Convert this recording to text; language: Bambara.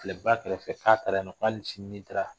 Tileba kɛrɛfɛ k'a taara yen nɔ ko hali sini n'i taara